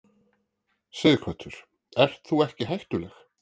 Sighvatur: Ert þú ekki hættuleg?